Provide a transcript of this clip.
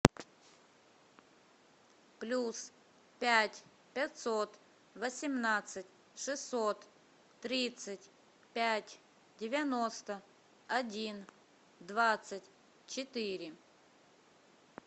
плюс пять пятьсот восемнадцать шестьсот тридцать пять девяносто один двадцать четыре